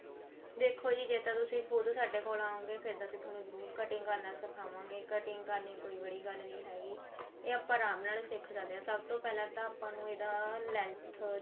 ਦੇਖੋ ਜੀ ਜੇ ਤਾਂ ਤੁਸੀਂ ਖੁਦ ਸਾਡੇ ਕੋਲ ਆਓਗੇ ਫੇਰ ਤਾਂ ਅਸੀਂ ਤੁਹਾਨੂੰ ਜਰੁਰ cutting ਕਰਨਾ ਸਿਖਾਵਾਂਗੇ cutting ਕਰਨੀ ਕੋਈ ਬੜੀ ਗੱਲ ਨੀ ਹੈਗੀ ਇਹ ਆਪਾਂ ਆਰਾਮ ਨਾਲ ਸਿੱਖ ਸਕਦੇ ਹਾਂ ਸਭ ਤੋਂ ਪਹਿਲਾਂ ਤਾਂ ਆਪਾਂ ਨੂੰ ਇਆ length